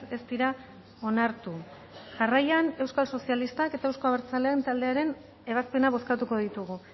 ez dira onartu jarraian euskal sozialistak eta euzko abertzaleen taldearen ebazpena bozkatuko ditugu